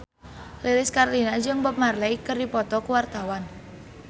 Lilis Karlina jeung Bob Marley keur dipoto ku wartawan